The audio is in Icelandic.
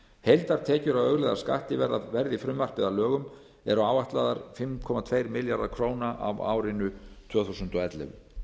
heildartekjur af auðlegðarskatti verði frumvarpið að lögum eru áætlaðar fimm komma tveir milljarðar króna á árinu tvö þúsund og ellefu